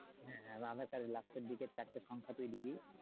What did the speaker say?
হ্যাঁ হ্যাঁ আর ধর কার্ডের লাস্টের দিকের চারটা সংখ্যা তুই দিবি